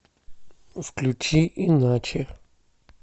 включи иначе